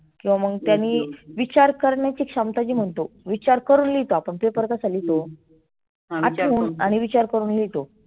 किंवा मग त्यानी विचार करण्याची क्षमता जी म्हणतो विचार करुण लिहितो paper कसा लिहितो आठवून आणि विचार करुण लिहितो.